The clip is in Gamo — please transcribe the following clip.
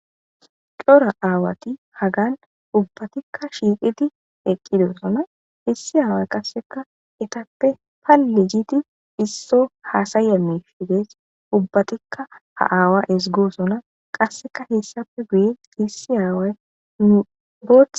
Cora aawati hagan ubbatikka shiiqidi eqqidosona issi aaway qasseka etappe palle gidi isso haasayamishidees ubbatikka ha aawa ezigosona qasseka hessappe guye issi aaway nu botha